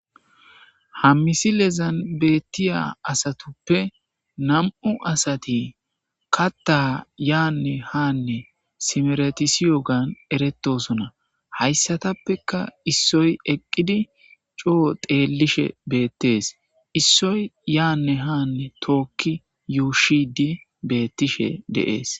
ha misilezan beettiya asatuppe nam7u asati katta yaanne hanne simeretisi yogan eretosona hayssatappeka issoy eqqidi coo xeellishe beettees issoy yaanne haanne tookki yuushidi beettishe deees